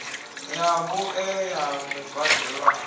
ya vhuṋe ya mubadelwa a